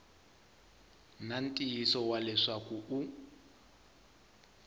na ntiyiso wa leswaku u